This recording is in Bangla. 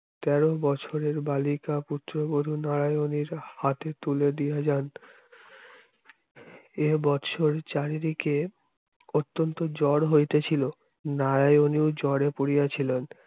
তেরো বছরের বালিকা পুত্রবধূ নারায়নীর হাতে তুলে দিয়া যান এ বছর চারিদিকে অত্যন্ত জ্বর হইতেছিল নারায়ণের জ্বরে পড়িয়াছিলেন